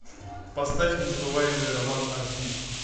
поставь незабываемый роман аш ди